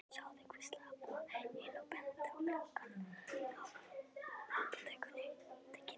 Sjáðu, hvíslaði Abba hin og benti á gluggana á apótekinu.